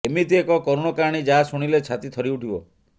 ଏମିତି ଏକ କରୁଣ କାହାଣୀ ଯାହା ଶୁଣିଲେ ଛାତି ଥରି ଉଠିବ